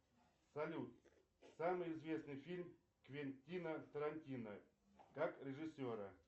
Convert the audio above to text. салют самый известный фильм квентина тарантино как режиссера